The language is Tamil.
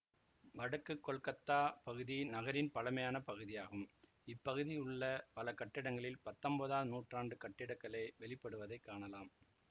வடக்கு கொல்கத்தா பகுதி நகரின் பழமையான பகுதியாகும் இப்பகுதியில் உள்ள பல கட்டிடங்களில் பத்தொன்பதாவது நூற்றாண்டு கட்டிடக்கலை வெளிப்படுவதைக் காணலாம்